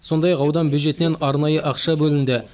сондай ақ аудан бюджетінен арнайы ақша бөлінді